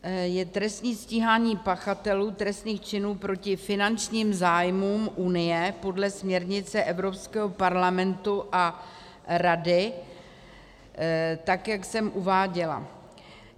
- je trestní stíhání pachatelů trestných činů proti finančním zájmům unie podle směrnice Evropského parlamentu a Rady, tak jak jsem uváděla.